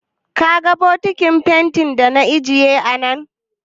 Ka ga bokitin fentin da na ajiye a nan?